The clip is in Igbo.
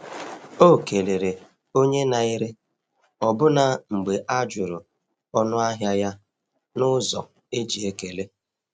O kelere onye na-ere ọbụna mgbe a jụrụ ọnụahịa ya n’ụzọ e ji ekele.